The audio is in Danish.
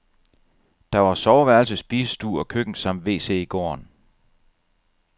Der var soveværelse, spisestue og køkken samt wc i gården.